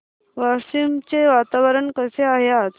वाशिम चे वातावरण कसे आहे आज